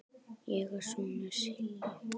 Ég er sonur Sylgju